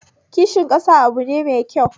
Kishin ƙasa abu ne mai kyau